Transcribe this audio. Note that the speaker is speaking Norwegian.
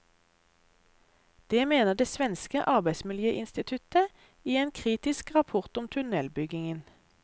Det mener det svenske arbeidsmiljøinstituttet i en kritisk rapport om tunnelbyggingen.